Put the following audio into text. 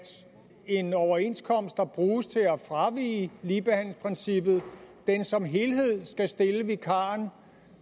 en overenskomst der bruges til at fravige ligebehandlingsprincippet som helhed skal stille vikaren